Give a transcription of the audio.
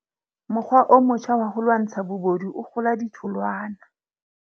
Mokgwa o motjha wa ho lwantsha bobodu o kgola ditholwana.